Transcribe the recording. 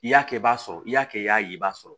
I y'a kɛ i b'a sɔrɔ i y'a kɛ i y'a ye i b'a sɔrɔ